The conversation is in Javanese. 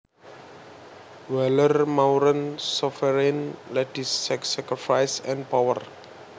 Waller Maureen Sovereign Ladies Sex Sacrifice and Power